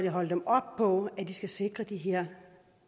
holder dem op på at de skal sikre de her